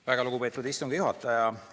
Väga lugupeetud istungi juhataja!